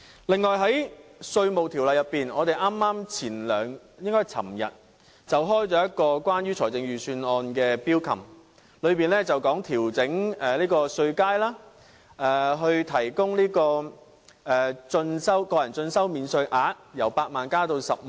此外，在稅務條例方面，我們昨天剛舉行一個關於預算案的 Bills Committee， 當中討論調整稅階、提高個人進修免稅額，由8萬元增加至10萬元。